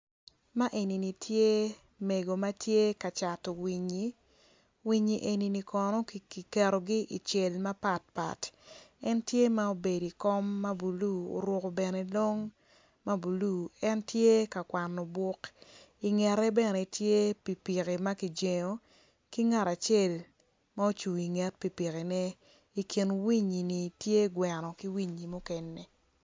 Man enini tye mego ma tye ka cato winyi winyini eni kono kiketogi icel mapat pat en tye ma obedo i kom ma blue en tye ka kwano buk ingete bene tye pikipiki ma kijengo ki ngat acel ocung inget pikipiki i kin winyini tye gweno ki winyi mukene.